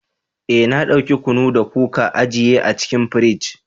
Eh na dauki kunu da kuka ajiye a cikin firij.